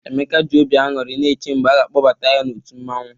Emeka ji obi aṅụrị na-eche mgbe a ga-akpọbata ya n'otu mmọnwụ.